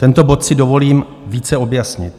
Tento bod si dovolím více objasnit.